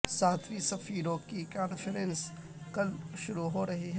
ساتویں سفیروں کی کانفرنس کل شروع ہو رہی ہے